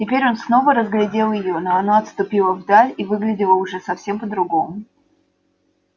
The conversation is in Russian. теперь он снова разглядел её но она отступила вдаль и выглядела уже совсем по другому